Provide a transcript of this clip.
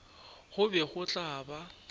go be go tla ba